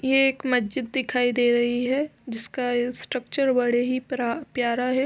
ये एक मस्जिद दिखाई दे रही है जिसका स्ट्रक्चर बड़े ही प्र प्यारा है।